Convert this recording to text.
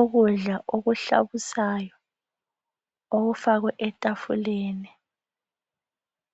Ukudla okuhlabusayo okufakwe etafuleni